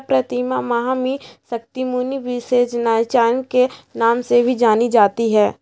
प्रतिमा महामी शक्ति मुनि नाम से भी जानी जाती हैं।